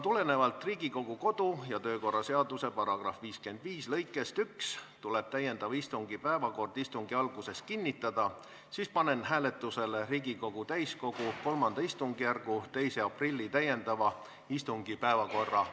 Kuna Riigikogu kodu- ja töökorra seaduse § 55 lõike 1 alusel tuleb täiendava istungi päevakord istungi alguses kinnitada, siis panen hääletusele Riigikogu täiskogu kolmanda istungjärgu 2. aprilli täiendava istungi päevakorra.